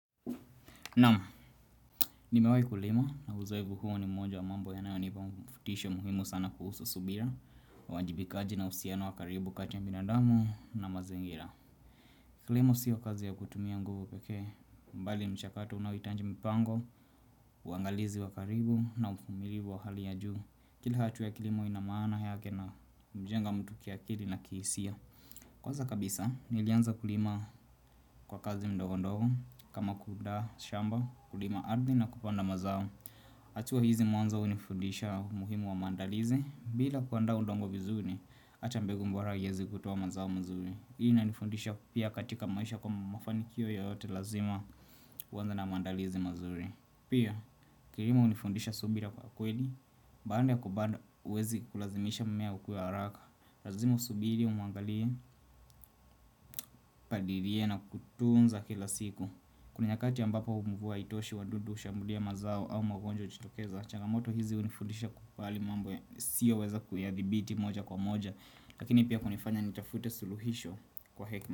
Naam, nimewahi kulima na uzoefu huo ni moja wa mambo yanayonipa mvutisho muhimu sana kuhusu subira uajibikaji na uhusiano wa karibu kati ya binadamu na mazingira Kilimo sio kazi ya kutumia nguvu pekee Bali mchakato unaohitaji mpango, uangalizi wakaribu na uvumilivu wa hali ya juu. Kila hatua ya kilimo ina maana yake na hujenga mtu kiakili na kihisia. Kwanza kabisa, nilianza kulima kwa kazi ndogondogo. Kama kuunda shamba kulima ardhi na kupanda mazao hatua hizi mwanzo hunifundisha umuhimu wa maandalizi. Bila kuandaa udongo vizuri hata mbegu bora haiwezi kutoa mazao mazuri. Hii inanifundisha pia katika maisha kwamba mafanikio yoyote lazima huanza na maandalizi mazuri. Pia kilimo hunifundisha subira kwa kweli Baada ya kupanda huwezi kulazimisha mmea ukue haraka. Lazima usubiri umuangalie Upalilie na kutunza kila siku. Kuna nyakati ambapo mvua haitoshi, wadudu hushambulia mazao au magonjwa hujitokeza. Changamoto hizi hunifudisha kukubali mambo nisiyoweza kuyadhibiti moja kwa moja. Lakini pia hunifanya nitafute suluhisho kwa hekima.